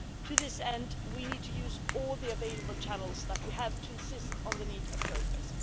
To this end, we need to use all the available channels that we have to insist on the need of progress.